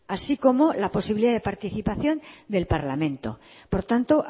así como la posibilidad de participación del parlamento por tanto